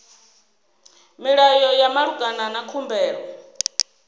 milayo ya malugana na khumbelo